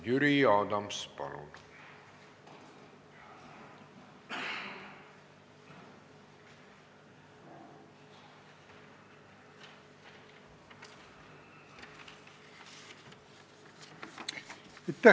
Jüri Adams, palun!